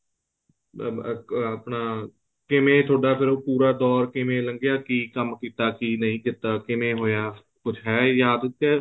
ਆਪਣਾ ਕਿਵੇਂ ਥੋੜਾ ਫੇਰ ਉਹ ਪੂਰਾ ਦੋਰ ਕਿਵੇਂ ਲੰਗਿਆ ਕਿ ਕੰਮ ਕੀਤਾ ਕਿ ਨਹੀਂ ਕੀਤਾ ਕਿਵੇਂ ਹੋਇਆ ਕੁੱਛ ਹੈ ਯਾਦ ਕੇ